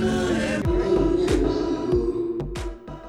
reading inyalondik gi gowi